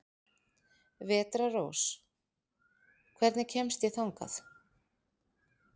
Vetrarrós, hvernig kemst ég þangað?